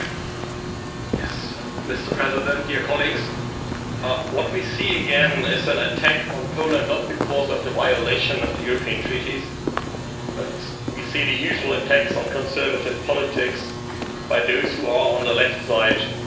Mr President, what we see again is an attack on Poland, not because of the violation of the European Treaties, but we see the usual attacks on conservative politics by those who are on the left side of the political spectrum.